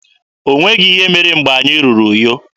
O nweghị ihe mere mgbe anyị ruru Uyo.